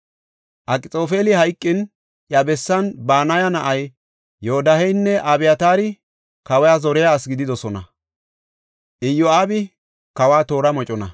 Akxoofeli hayqin, iya bessan Banaya na7ay Yodaaheynne Abyataari kawa zoriya asi gididosona; Iyo7aabi kawa toora mocona.